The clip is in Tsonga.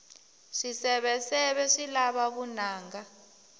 swiseveseve swi lava vunanga